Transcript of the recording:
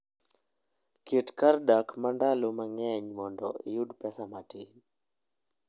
Ket kar dak mar ndalo mang'eny mondo iyud pesa matin.